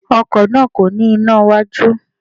Ọkò náà kò ní iná iwájú